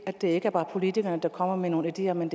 at det ikke bare er politikerne der kommer med nogle ideer men